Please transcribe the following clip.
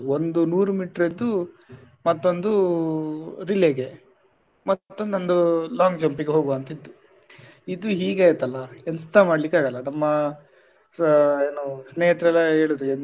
ಒಂದು ನೂರು meter ದ್ದು ಮತ್ತೊಂದು relay ಗೆ ಮತ್ತೊಂದ್ ಒಂದು long jump ಗೆ ಹೋಗುವ ಅಂತ ಇತ್ತು ಇದು ಹೀಗೆ ಆಯ್ತಲ್ಲ ಎಂತ ಮಾಡ್ಲಿಕ್ಕೆ ಆಗಲ್ಲ ನಮ್ಮ ಸಾ ಏನು ಸ್ನೇಹಿತರೆಲ್ಲ ಹೇಳಿದ್ರು.